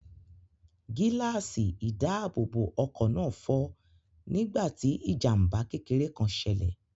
Gíláàsì ìdáàbòbọ̀ ọkọ̀ náà fọ́ nígbà tí ijamba kékeré kan ṣẹlẹ̀.